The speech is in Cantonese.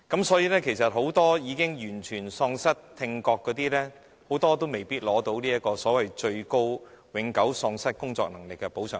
所以，其實很多已經完全喪失聽覺的人，都未必獲得永久喪失工作能力的最高補償額。